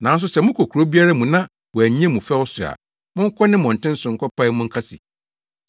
Nanso sɛ mokɔ kurow biara mu na wɔannye mo fɛw so a monkɔ ne mmɔnten so nkɔpae mu nka se,